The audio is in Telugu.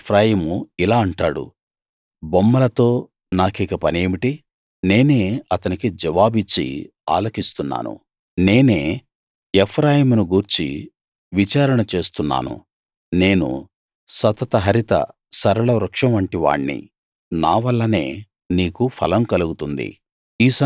ఎఫ్రాయిము ఇలా అంటాడు బొమ్మలతో నాకిక పనేమిటి నేనే అతనికి జవాబిచ్చి ఆలకిస్తున్నాను నేనే ఎఫ్రాయిమునుగూర్చి విచారణ చేస్తున్నాను నేను సతత హరిత సరళ వృక్షం వంటి వాణ్ణి నావల్లనే నీకు ఫలం కలుగుతుంది